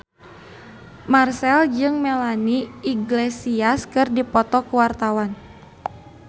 Marchell jeung Melanie Iglesias keur dipoto ku wartawan